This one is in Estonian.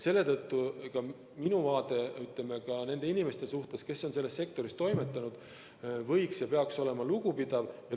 Ka minu vaade, ütleme, nende inimeste suhtes, kes on selles sektoris toimetanud, peaks olema lugupidav.